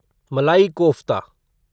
मलाई कोफ्ता